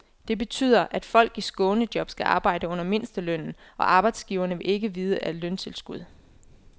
Det betyder, at folk i skånejob skal arbejde under mindstelønnen, og arbejdsgiverne vil ikke vide af løntilskud.